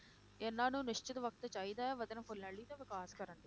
ਇਹਨਾਂ ਨੂੰ ਨਿਸ਼ਚਿਤ ਵਕਤ ਚਾਹੀਦਾ ਹੈ ਵਧਣ ਫੁੱਲਣ ਲਈ ਤੇ ਵਿਕਾਸ ਕਰਨ ਲਈ।